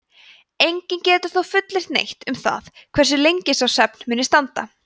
enginn getur þó fullyrt neitt um það hversu lengi sá svefn muni standa